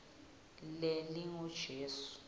lelingujesu